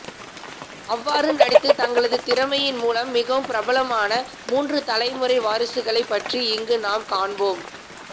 அவ்வாறு நடித்து தங்களது திறமையின் மூலம் மிகவும் பிரபலமான மூன்று தலைமுறை வாரிசுகளை பற்றி இங்கு நாம் காண்போம்